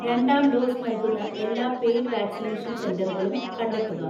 രണ്ടാം ഡോസ് നൽകുന്ന എല്ലാ പെയ്ഡ് വാക്സിനേഷൻ സെന്ററുകളും കണ്ടെത്തുക.